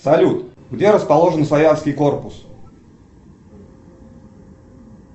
салют где расположен славянский корпус